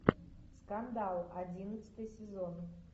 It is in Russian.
скандал одиннадцатый сезон